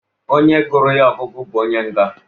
Onye gụrụ ihe ọgụgụ bụ onye nga.